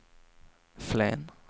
Flen